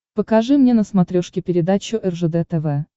покажи мне на смотрешке передачу ржд тв